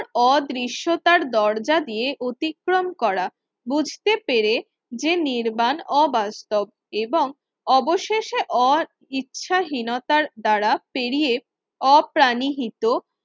অদৃশ্য তার দরজা দিয়ে অতিক্রম করা বুঝতে পেরে যে নির্বাণ অবাস্তব এবং অবশেষে ওর ইচ্ছা হীনতার দ্বারা পেরিয়ে অপ্রাণিহিত